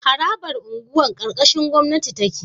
Harabar unguwa karkashin gwamnati take